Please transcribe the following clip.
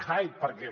hyde perquè